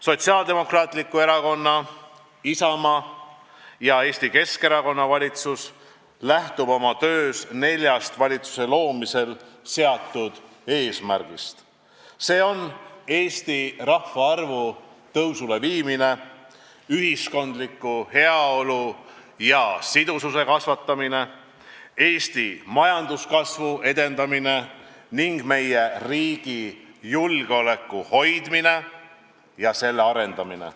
Sotsiaaldemokraatliku Erakonna, Isamaa ja Eesti Keskerakonna valitsus lähtub oma töös neljast valitsuse loomisel seatud eesmärgist: Eesti rahvaarvu taas tõusule viimine, ühiskonna heaolu ja sidususe suurendamine, Eesti majanduskasvu edendamine ning meie riigi julgeoleku hoidmine ja selle arendamine.